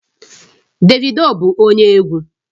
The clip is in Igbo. Davido bụ onye egwu